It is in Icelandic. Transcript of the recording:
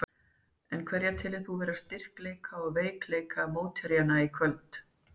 En hverja telur þú vera styrkleika og veikleika mótherjanna í kvöld?